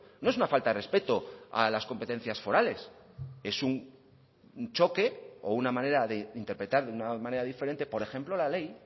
no es una falta de respeto a las competencias forales es un choque o una manera de interpretar de una manera diferente por ejemplo la ley